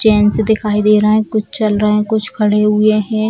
Chains दिखाई दे रहा है कुछ चल रहा है कुछ खड़े हुए हैं।